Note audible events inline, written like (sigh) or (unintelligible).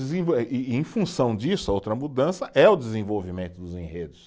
(unintelligible) E em função disso, a outra mudança é o desenvolvimento dos enredos.